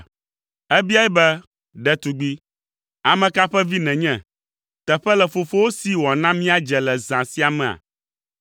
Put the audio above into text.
Ebiae be, “Ɖetugbi, ame ka ƒe vi nènye? Teƒe le fofowò si wòana míadze le zã sia mea?”